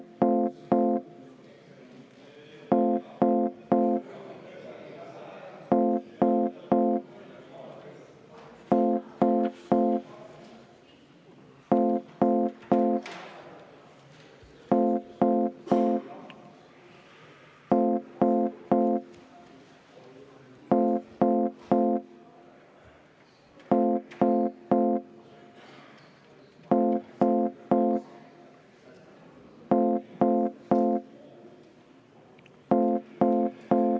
Palun EKRE fraktsiooni nimel panna see muudatusettepanek hääletusele ja enne seda palun ka kümme minutit vaheaega.